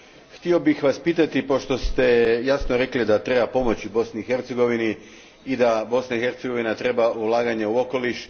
Htio bih Vas pitati, pošto ste jasno rekli da treba pomoći Bosni i Hercegovini i da Bosna i Hercegovina treba ulaganje u okoliš.